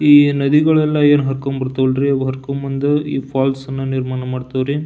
ಈ ನದಿಗಳೆಲ್ಲ ಏನ್ ಹರ್ಕಂಡ್ ಬರ್ತವಾಲರಿ ಅವು ಹರ್ಕಂಡ್ ಬಂದ್ ಈ ಫಾಲ್ಸ್ ಅನ್ನ ನಿರ್ಮಾಣ ಮಾಡ್ತವ್ರಿ.